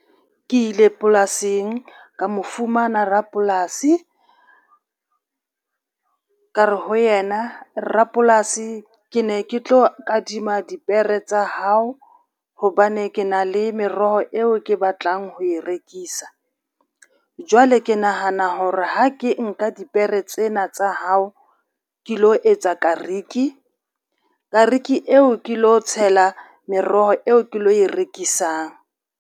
Ke ile polasing ka mo fumana rapolasi, ka re ho yena rapolasi ke ne ke tlo kadima dipere tsa hao hobane ke na le meroho eo ke batlang ho e rekisa. Jwale ke nahana hore ha ke nka dipere tsena tsa hao, ke lo etsa kariki, kariki eo ke lo tshela meroho eo ke lo e rekisang.